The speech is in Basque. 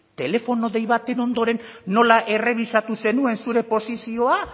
telefono dei baten ondoren nola errebisatu zenuen zure posizioa